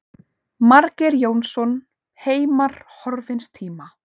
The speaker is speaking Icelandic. Margeir Jónsson, Heimar horfins tíma.